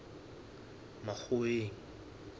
makgoweng